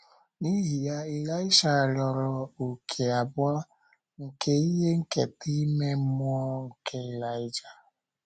N’ihi ya, Ịlaịsha rịọrọ òkè abụọ, nke ihe nketa ime mmụọ nke Ịlaịja.